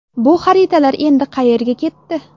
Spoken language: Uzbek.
Bu xaritalar endi qayerga ketdi?